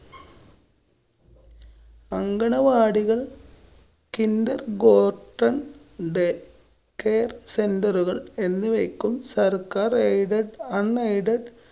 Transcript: അംഗണ വാടികള്‍, kinder , day~care centre കള്‍ എന്നിവക്കും സര്‍ക്കാര്‍ aidedunaided